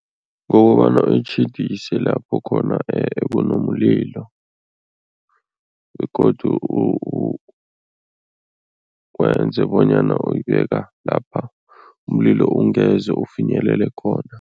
Ngokobana uyitjhidise lapho khona kunomlilo begodu wenze bonyana uyibeka lapha umlilo ungeze ufinyelele khona.